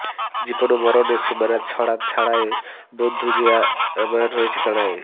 জীবন ও মরণের সীমানা ছাড়ায়ে বন্ধু হে আমার রয়েছ দাঁড়ায়ে